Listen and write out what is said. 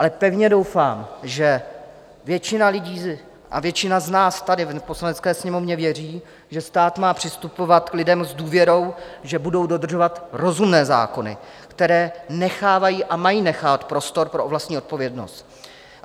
Ale pevně doufám, že většina lidí a většina z nás tady v Poslanecké sněmovně věří, že stát má přistupovat k lidem s důvěrou, že budou dodržovat rozumné zákony, které nechávají a mají nechávat prostor pro vlastní odpovědnost.